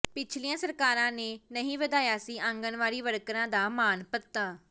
ਪਿਛਲੀਆਂ ਸਰਕਾਰਾਂ ਨੇ ਨਹੀਂ ਵਧਾਇਆ ਸੀ ਆਂਗਨਵਾੜੀ ਵਰਕਰਾਂ ਦਾ ਮਾਣਭੱਤਾ